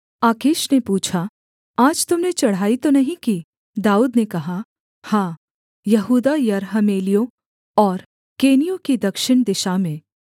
आकीश ने पूछा आज तुम ने चढ़ाई तो नहीं की दाऊद ने कहा हाँ यहूदा यरहमेलियों और केनियों की दक्षिण दिशा में